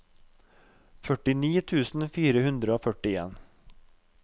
førtini tusen fire hundre og førtien